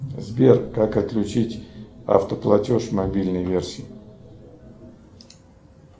сбер как отключить автоплатеж в мобильной версии